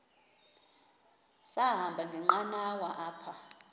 sahamba ngenqanawa apha